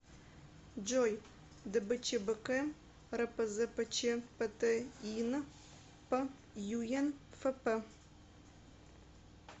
джой дбчбк рпзпчптйн п юен фп